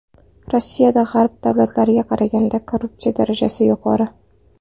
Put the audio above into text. Rossiyada G‘arb davlatlariga qaraganda korrupsiya darajasi yuqori.